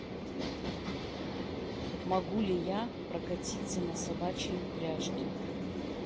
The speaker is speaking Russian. могу ли я прокатиться на собачьей упряжке